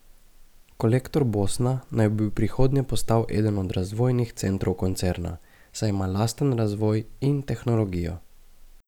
Kolektor Bosna naj bi v prihodnje postal eden od razvojnih centrov koncerna, saj ima lasten razvoj in tehnologijo.